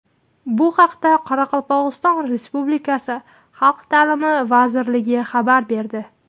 Bu haqda Qoraqalpog‘iston Respublikasi Xalq ta’limi vazirligi xabar berdi .